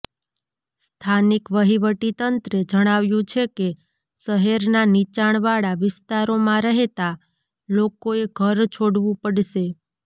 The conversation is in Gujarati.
સ્થાનિક વહીવટીતંત્રે જણાવ્યું છે કે શહેરના નીચાણવાળા વિસ્તારોમાં રહેતા લોકોએ ઘર છોડવું પડશે